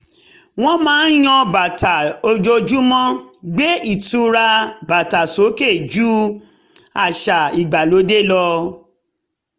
wọ́n máa ń yan bàtà ojoojúmọ́ gbé ìtura bàtà sókè jú àṣà ìgbàlódé lọ